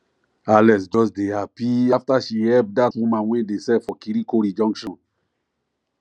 alex just dey happy after she help that woman wey dey sell for kirikori junction